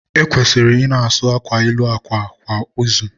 E kwesịrị ị na-asụ akwa elu akwa kwa izu.